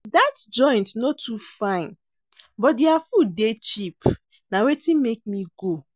Dat joint no too fine but their food dey cheap na wetin make me go.